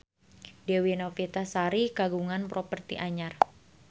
Dewi Novitasari kagungan properti anyar